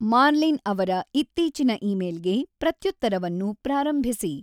Marlene ಅವರ ಇತ್ತೀಚಿನ ಇಮೇಲ್‌ಗೆ ಪ್ರತ್ಯುತ್ತರವನ್ನು ಪ್ರಾರಂಭಿಸಿ